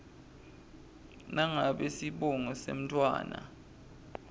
nangabe sibongo semntfwana